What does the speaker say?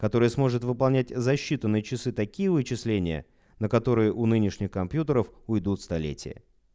который сможет выполнять защиту на часы такие вычисления на которые у нынешней компьютеров уйдут столетия